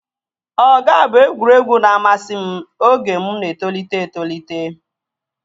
Ọga bụ egwuregwu na-amasị m oge mụ na-etolite etolite